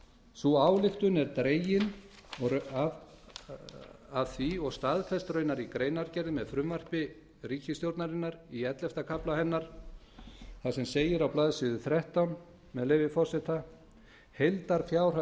sú ályktun er dregin og staðfest raunar í greinargerð með frumvarpi ríkisstjórnarinnar í ellefta kafla hennar þar sem segir á blaðsíðu þrettán með leyfi forseta heildarfjárhæð